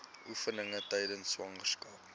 oefeninge tydens swangerskap